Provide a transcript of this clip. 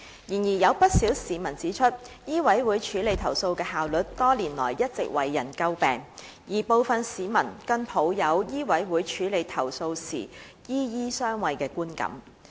然而，有不少市民指出，醫委會處理投訴的效率多年來一直為人詬病，而部分市民更抱有醫委會處理投訴時"醫醫相衛"的觀感。